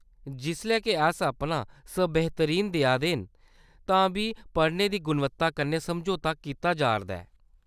जिसलै के अस अपना सबेह्‌तरीन देऐ ने आं तां बी पढ़ाने दी गुणवत्ता कन्नै समझौता कीता जा’रदा ऐ।